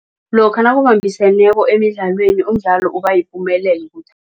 Lokha nakubambisweneko emidlalweni umdlalo